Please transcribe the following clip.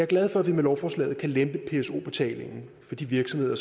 glad for at vi med lovforslaget kan lempe pso betalingen for de virksomheder